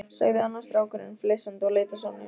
sagði annar strákurinn flissandi og leit á Sonju.